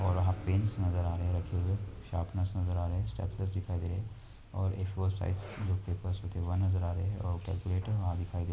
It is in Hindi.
और यहां पेनस नजर आ रहे हैं रखे हुए। शार्पणरस नज़र आ रहें हैं। स्टेप्लरस दिखाई दे रहे हैं और ए-फोर साइज़ जो पेपर होते हैं वो नजर आ रहे हैं और कैलकुलेटर वहां दिखाई दे --